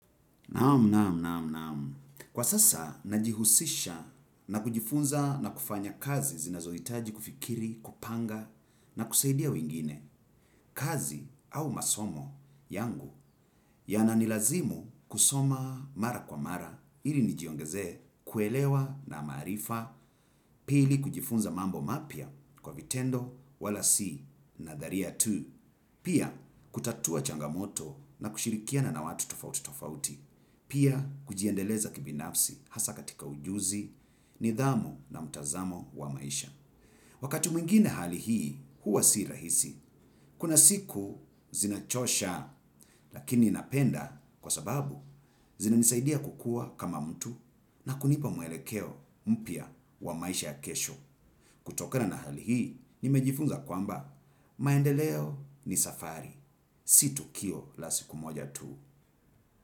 Naam naam naam naam. Kwa sasa najihusisha na kujifunza na kufanya kazi zinazohitaji kufikiri, kupanga na kusaidia wengine, kazi au masomo yangu yananilazimu kusoma mara kwa mara ili nijiongezee kuelewa na maarifa pili kujifunza mambo mapya kwa vitendo wala si nadharia tu. Pia, kutatua changamoto na kushirikiana na watu tofauti tofauti. Pia, kujiendeleza kibinafsi hasa katika ujuzi, nidhamu na mtazamo wa maisha. Wakati mwingine hali hii huwa si rahisi kuna siku zinachosha, lakini napenda kwa sababu zinanisaidia kukuwa kama mtu na kunipa muelekeo mpya wa maisha ya kesho. Kutokana na hali hii, nimejifunza kwamba, maendeleo ni safari, si tukio la siku moja tu.